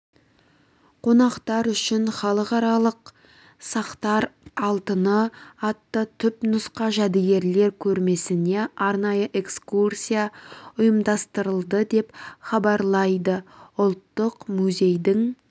қонақтар үшін халықаралық сақтар алтыны атты түпнұсқа жәдігерлер көрмесіне арнайы экскурсия ұйымдастырылды деп хабарлайды ұлттық музейдің